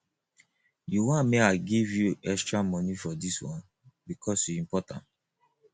you wan make i give you you extra money for this one because you import am